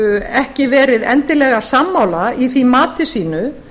ekki verið endilega sammála í því mati sínu